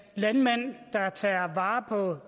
landmænd der tager vare på